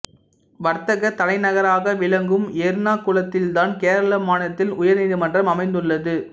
வர்த்தகத் தலைநகராக விளங்கும் எர்ணாகுளத்தில்தான் கேரள மாநிலத்தின் உயர்நீதிமன்றம் அமைந்துள்ளது